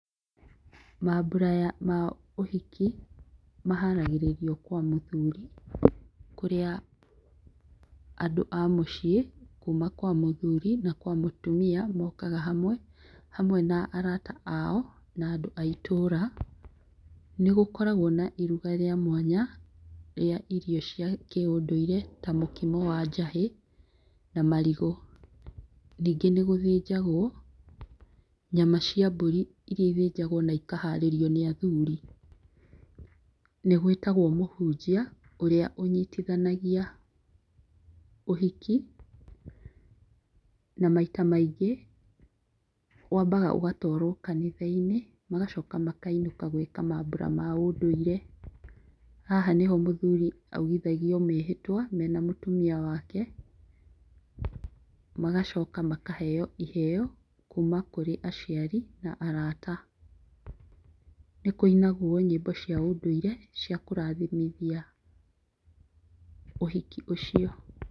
Mambura ya ma ũhiki maharagĩrĩrio kwa mũthuri, kũrĩa andũ a mũciĩ kuma kwa muthuri na kwa mũtumia mokaga hamwe, hamwe na arata ao na andũ a itũra. Nĩgũkoragwo na iruga rĩa mwanya rĩa irio cia kĩũndũire ta mũkimo wa njahĩ na marigũ. Ningĩ nĩgũthĩnjagwo nyama cia mbũri iria ithĩnjagwo na ikaharĩrio nĩ athuri. Nĩgwĩtagwo mũhunjia ũrĩa ũnyitithanagia ũhiki na maita maingĩ wambaga ũgatũarwo kanitha-inĩ magacoka makainũka gwĩka mambura ma ũndũire, haha nĩho mũthuri augithagio mĩhĩtwa mena mũtumia wake. Magacoka makaheo iheo kuma kũrĩ aciari na arata. Nĩkũinagwo nyĩmbo cia ũndũire cia kũrathimithia ũhiki ũcio